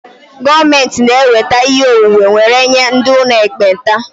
Gọọmentị na-eweta ihe onwunwe were nye ndị ụlọ ekpenta